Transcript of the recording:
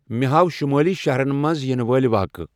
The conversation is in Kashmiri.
مے ہاو شمٲلی شہرن منز یینہٕ وٲلۍ واقعہٕ ۔